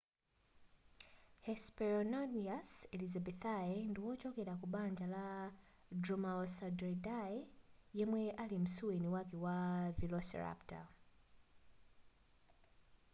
hesperonychus elizabethae ndiwochokera kubanja lama dromaeosauridae yemwe ali msuweni wake wa velociraptor